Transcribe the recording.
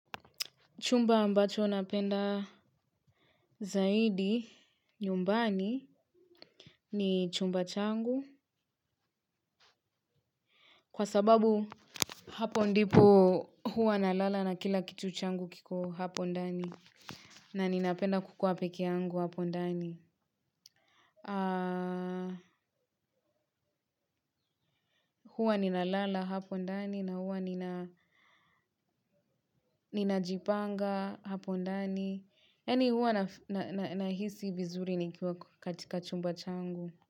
Chumba ambacho napenda zaidi nyumbani ni chumba changu. Kwa sababu hapo ndipo huwa nalala na kila kitu changu kiko hapo ndani. Naninapenda kukuwa peke yangu hapo ndani. Huwa nina lala hapo ndani na huwa ninajipanga hapo ndani. Yani huwa nahisi vizuri nikiwa katika chumba changu.